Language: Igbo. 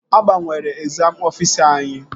A gbanwere egzam ọfisa anyị